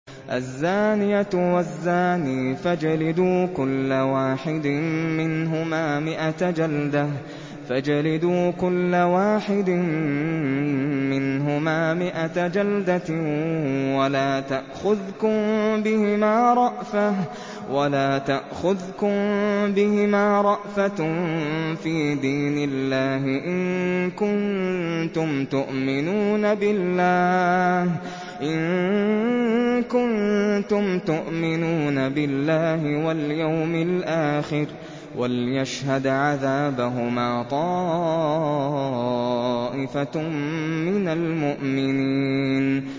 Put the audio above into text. الزَّانِيَةُ وَالزَّانِي فَاجْلِدُوا كُلَّ وَاحِدٍ مِّنْهُمَا مِائَةَ جَلْدَةٍ ۖ وَلَا تَأْخُذْكُم بِهِمَا رَأْفَةٌ فِي دِينِ اللَّهِ إِن كُنتُمْ تُؤْمِنُونَ بِاللَّهِ وَالْيَوْمِ الْآخِرِ ۖ وَلْيَشْهَدْ عَذَابَهُمَا طَائِفَةٌ مِّنَ الْمُؤْمِنِينَ